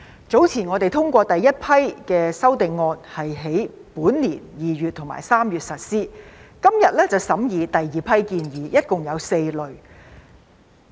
早前我們通過第一批修正案，並於本年2月及3月實施，今天則審議第二批建議，一共有4類。